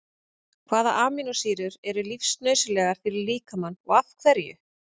Hvaða amínósýrur eru lífsnauðsynlegar fyrir líkamann og af hverju?